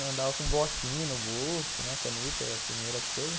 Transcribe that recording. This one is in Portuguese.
Daí andava com um bloquinho no bolso, né, caneta, primeira coisa.